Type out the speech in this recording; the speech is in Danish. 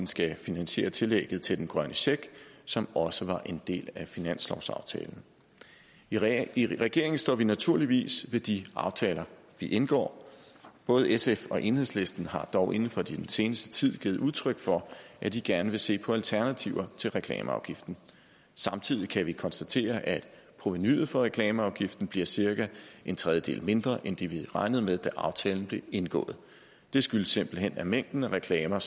skal finansiere tillægget til den grønne check som også var en del af finanslovsaftalen i regeringen står vi naturligvis ved de aftaler vi indgår både sf og enhedslisten har dog inden for den seneste tid givet udtryk for at de gerne vil se på alternativer til reklameafgiften samtidig kan vi konstatere at provenuet fra reklameafgiften bliver cirka en tredjedel mindre end det vi regnede med da aftalen blev indgået det skyldes simpelt hen at mængden af reklamer